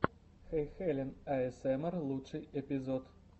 хэйхелен аэсэмэр лучший эпизод